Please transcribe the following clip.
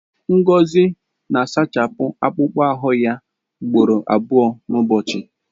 Ngozi na-ehichapụ akpụkpọ ahụ ya ugboro abụọ n'ụbọchị.